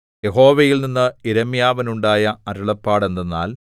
യഹോവയിൽനിന്ന് യിരെമ്യാവിനുണ്ടായ അരുളപ്പാട് എന്തെന്നാൽ